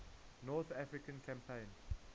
north african campaign